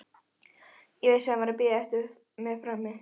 Ég vissi að hann var að bíða eftir mér frammi.